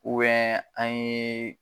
an ye